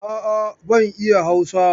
A'a, ban iya Hausa.